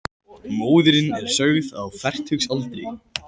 Móðirin er sögð á fertugsaldri